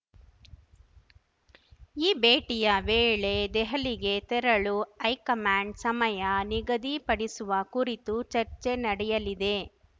ಈ ಭೇಟಿಯ ವೇಳೆ ದೆಹಲಿಗೆ ತೆರಳು ಹೈಕಮಾಂಡ್‌ನ ಸಮಯ ನಿಗದಿಪಡಿಸುವ ಕುರಿತು ಚರ್ಚೆ ನಡೆಯಲಿದೆ